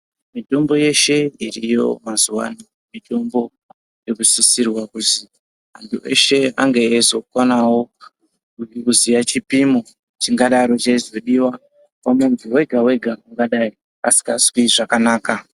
Mitombo yeshe iriyo mazuvano mitombo inosisirwe kuti antu eshe ange eizokwanawo eiziyawo chipimo chingadaro cheizodiwa pamuntu wega wega angadai asikazwi zvakanaka .